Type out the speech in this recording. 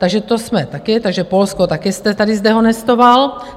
Takže to jsme taky... takže Polsko také jste tady zdehonestoval.